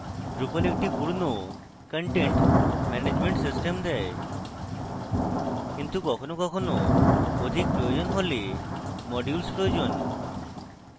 drupal একটি পূর্ণ content management system দেয় কিন্তু কখনও কখনও অধিক প্রয়োজন হলে modules প্রয়োজন